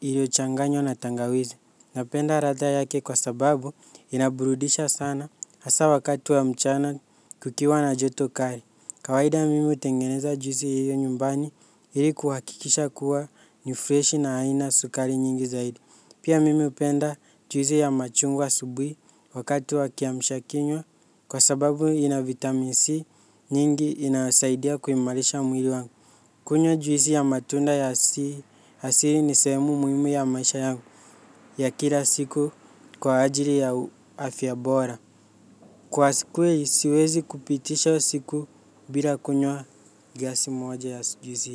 iliyochanganywa na tangawizi. Napenda ladha yake kwa sababu inaburudisha sana hasa wakati wa mchana kukiwa na joto kali. Kawaida mimi hutengeneza juisi hiyo nyumbani ili kuhakikisha kuwa nifreshi na haina sukari nyingi zaidi. Pia mimi hupenda juisi ya machungwa asubuhi wakati wa kiamsha kinywa kwa sababu ina vitamin C nyingi inasaidia kuimarisha mwili wangu. Kunywa juisi ya matunda ya asili ni sehemu muhimu ya maisha yangu ya kila siku kwa ajili ya afya bora. Kwa siku siwezi kupitisha siku bila kunywa glasi moja ya juisi.